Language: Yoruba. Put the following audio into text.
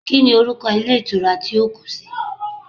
Kíni orúkọ Ilé Ìtura tí ó kú si